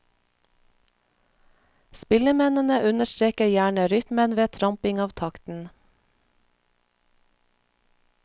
Spillemennene understreker gjerne rytmen ved tramping av takten.